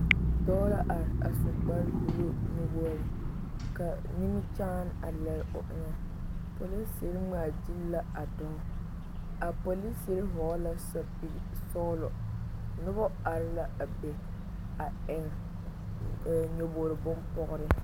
Dɔɔ la are a su kpare buluu nuwogri ka nimikyaani a lere o eŋɛ polisiri ŋmaa gyili la a dɔɔ a polisiri vɔgle la sapili sɔglɔ noba are la a be a eŋ nyɔbogri bompɔgre.